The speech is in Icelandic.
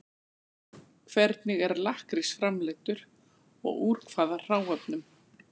Hvernig er lakkrís framleiddur og úr hvaða hráefnum?